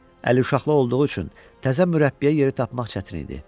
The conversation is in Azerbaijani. Əli uşaqlı olduğu üçün təzə mürəbbiyə yeri tapmaq çətin idi.